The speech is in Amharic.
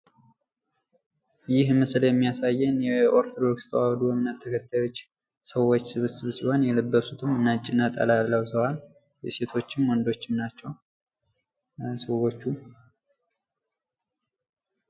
ይህ ምስል የሚያሳየን በኦርቶዶክስ ተዋህዶ እምነት ተከታዮች ሰዎች ስብስብ ሲሆን የለበሱትም ነጭ ነጠላ ለብሰዋል። ሴቶችም ወንዶችም ናቸው ሰዎቹ።